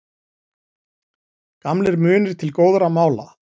Gamlir munir til góðra mála